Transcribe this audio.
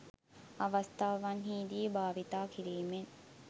අවස්ථාවන්හි දී භාවිතා කිරීමෙන්